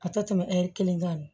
A tɛ tɛmɛ ɛri kelen kan